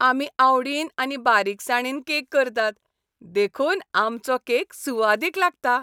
आमी आवडीन आनी बारीकसाणीन केक करतात, देखून आमचो केक सुवादीक लागता.